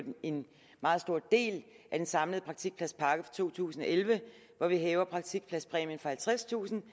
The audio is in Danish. en meget stor del af den samlede praktikpladspakke for to tusind og elleve hvor vi hæver praktikpladspræmien fra halvtredstusind